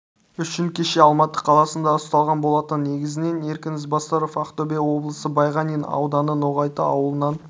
үшін кеше алматы қаласында ұсталған болатын негізінен еркін ізбасаров ақтөбе облысы байғанин ауданы ноғайты ауылынан